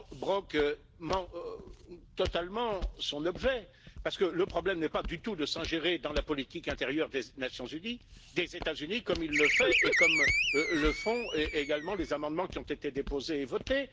Brok manque totalement son objet, parce que le problème n'est pas du tout de s'ingérer dans la politique intérieure des États Unis, comme il le fait et comme le font également les amendements qui ont été déposés et votés.